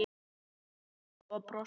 svaraði afi og brosti.